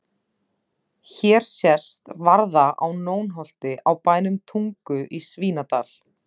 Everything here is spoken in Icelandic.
Hér sést varða á Nónholti á bænum Tungu í Svínadal.